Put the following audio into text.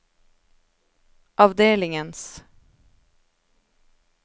avdelingens